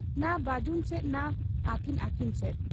ᱱᱟ ᱵᱟᱹᱡᱩᱱ ᱥᱮᱫ ᱱᱟ ᱟᱹᱠᱤᱱ ᱟᱹᱠᱤᱱ ᱥᱮᱫ ᱾